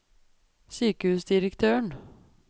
sykehusdirektøren